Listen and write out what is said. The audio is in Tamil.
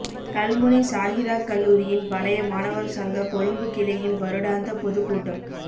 கல்முனை ஸாஹிராக் கல்லூரியின் பழைய மாணவர் சங்க கொழும்புக் கிளையின் வருடாந்த பொதுக் கூட்டம்